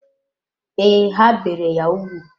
Ee, ha bere ya úgwù.